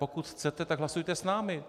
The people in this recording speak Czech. Pokud chcete, tak hlasujte s námi.